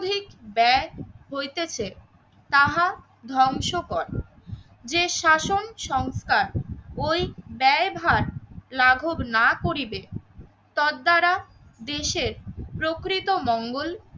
ব্যায় হইতেছে তাহা ধ্বংস করে যে শাসন সংস্থা ওই ব্যয় ভার লাঘব না করিবে তার দ্বারা দেশের প্রকৃত মঙ্গল